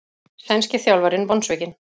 Sænski þjálfarinn vonsvikinn